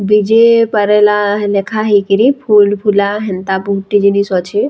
ବିଜେ ପାରାଲା ଲେଖା ହେଇକରି ଫୁଲ ଫୁଲା ହେନ୍ତା ବହୁତ ଟେ ଜିନଷ୍‌ ଅଛେ।